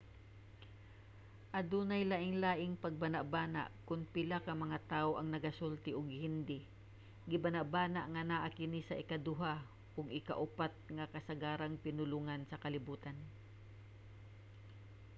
adunay lainlaing pagbanabana kon pila ka mga tawo ang nagasulti og hindi. gibanabana nga naa kini sa ikaduha ug ikaupat nga kasagarang pinulongan sa kalibutan